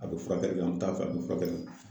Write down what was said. A bɛ furakɛli kɛ an bɛ t'a fɛ a bɛ furakɛli kɛ.